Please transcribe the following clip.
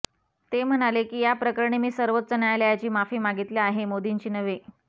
ते म्हणाले की या प्रकरणी मी सर्वोच्च न्यायालयाची माफी मागितली आहे मोदींची नव्हे